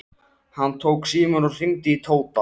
Hann tók símann og hringdi til Tóta.